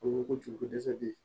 O ko ko ju ko dɛsɛ bɛ yen